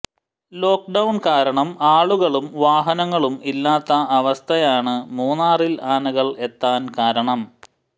lock down കാരണം ആളുകളും വാഹനങ്ങളും ഇല്ലാത്ത അവസ്ഥയാണ് മൂന്നാറിൽ ആനകൾ എത്താൻ കാരണം